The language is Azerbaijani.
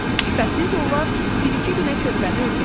Şübhəsiz, onlar bir-iki günə körpəni öldürərlər.